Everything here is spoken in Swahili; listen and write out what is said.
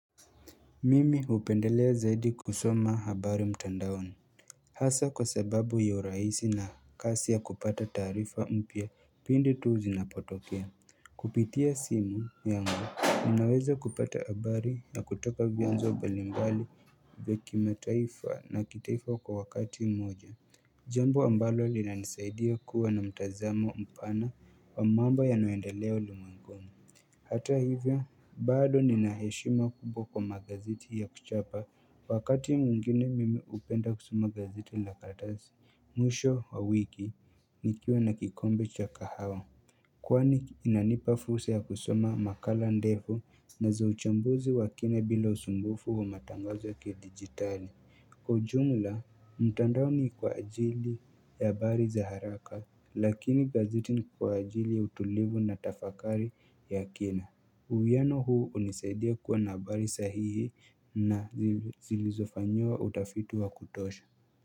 Mimi hupendelea zaidi kusoma habari mtandaoni Hasa kwa sababu ya urahisi na kasi ya kupata taarifa mpya pindi tu zinapotokea Kupitia simu yangu Ninaweza kupata habari za kutoka vyanzo mbalimbali vya kimataifa na kitaifa kwa wakati moja Jambo ambalo linanisaidia kuwa na mtazamo mpana wa mambo yanayoendelea ulimwenguni Hata hivyo bado nina heshima kubwa kwa magaziti ya kuchapa wakati mwingine mimi upenda kusoma gazeti la karatasi mwisho wa wiki nikiwa na kikombe cha kahawa Kwani inanipa fursa ya kusoma makala ndefu zinazo uchambuzi wa kina bila usumbufu wa matangazo ya kidigitali Kwa ujumla mtandaoni kwa ajili ya habari za haraka lakini gazeti ni kwa ajili ya utulivu na tafakari ya kina uwiano huu unisaidia kuwa na habari sahihi na zilizofanyiwa utafiti wa kutosha.